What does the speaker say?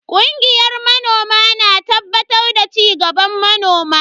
Kungiyar manoma na tabbatar da cigaban manoma.